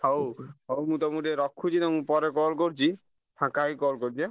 ହଉ ହଉ ତମୁ ଟିକେ ରଖୁଛି ପରେ call କରୁଛି ଫାଙ୍କା ହେଇ call କରୁଛି ଆଁ?